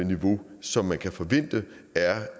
niveau som man kan forvente